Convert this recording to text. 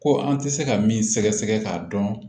Ko an tɛ se ka min sɛgɛsɛgɛ k'a dɔn